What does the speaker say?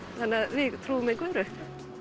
við trúum engu öðru